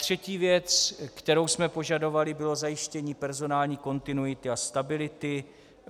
Třetí věc, kterou jsme požadovali, bylo zajištění personální kontinuity a stability.